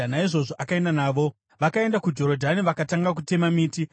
Naizvozvo akaenda navo. Vakaenda kuJorodhani vakatanga kutema miti.